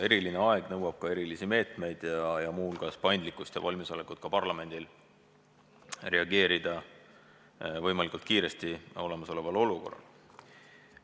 Eriline aeg nõuab ka erilisi meetmeid, muu hulgas paindlikkust ja valmisolekut ka parlamendilt reageerida võimalikult kiiresti olemasolevale olukorrale.